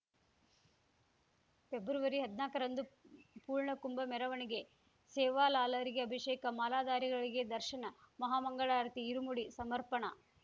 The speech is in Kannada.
ಫೆಬ್ರವರಿ ಹದ್ನಾಕರಂದು ಪೂರ್ಣಕುಂಭ ಮೆರವಣಿಗೆ ಸೇವಾಲಾಲರಿಗೆ ಅಭಿಷೇಕ ಮಾಲಾಧಾರಿಗಳಿಗೆ ದರ್ಶನ ಮಹಾ ಮಂಗಳಾರತಿ ಇರುಮುಡಿ ಸಮರ್ಪಣಾ